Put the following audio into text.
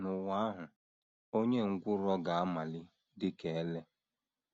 * N’ụwa ahụ, “ onye ngwụrọ ga - amali dị ka ele. ”